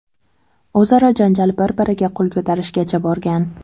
O‘zaro janjal bir-biriga qo‘l ko‘tarishgacha borgan.